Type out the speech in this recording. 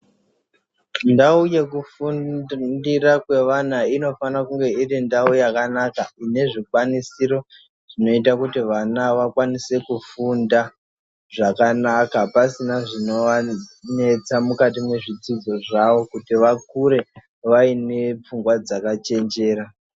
Ndau yekufundira kwevana inofana kunge iri ndau yakanaka, ine zvikwanisiro zvinoita kuti vana vakwanise kufunda zvakanaka, pasina zvino vanesa mukati mwezvidzidzo zvavo kuti vakure vaine pfungwa dzaka chenjera.